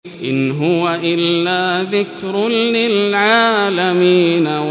إِنْ هُوَ إِلَّا ذِكْرٌ لِّلْعَالَمِينَ